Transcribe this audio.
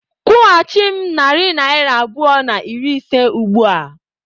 Kwụghachi m narị naira abụọ na iri ise ugbu a!